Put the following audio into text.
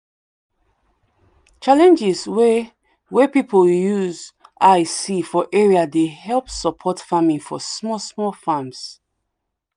challenges way way people use eye see for area dey help support farming for small small farms